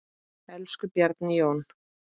Elsku Bjarni Jón.